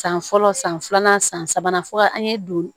San fɔlɔ san filanan san sabanan fo ka an ye don